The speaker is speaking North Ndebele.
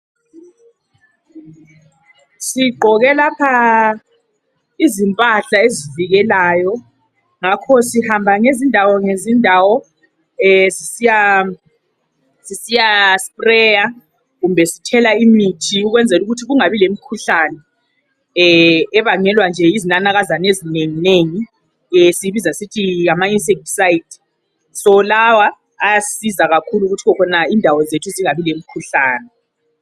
Sigqoke lapha izimpahla ezivikelayo ngakho sihamba ngezindawo ngezindawo sisiyathela imithi ukwenzela ukuthi kungabi lemikhuhlane ebangelwa nje yizinanakazana ezinenginengi esiyibiza sisithi ngama insecticide . Ayasisiza kakhulu ukuthi indawo zethu zingabi lemikhuhlane.